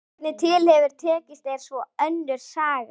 Hvernig til hefur tekist er svo önnur saga.